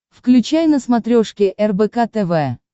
включай на смотрешке рбк тв